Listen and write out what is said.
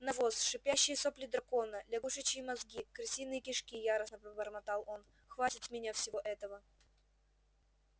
навоз шипящие сопли дракона лягушачьи мозги крысиные кишки яростно пробормотал он хватит с меня всего этого